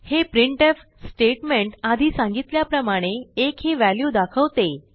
हे printf statement आधी सांगितल्याप्रमाणे 1 ही व्हॅल्यू दाखवते